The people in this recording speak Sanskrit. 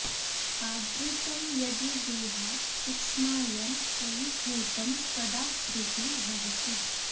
आवृत्तं यदि देहाद् सूक्ष्मायां त्वयि हुतं त्वदाकृति भवति